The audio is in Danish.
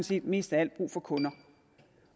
set mest af alt brug for kunder